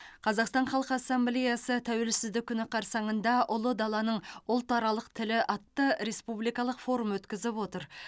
қазақстан халқы ассамблеясы тәуелсіздік күні қарсаңында ұлы даланың ұлтаралық тілі атты республикалық форум өткізіп отыр